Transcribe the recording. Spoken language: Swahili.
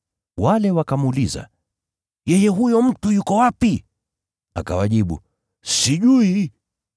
Wale wakamuuliza, “Yeye huyo mtu yuko wapi?” Akawajibu, “Sijui.”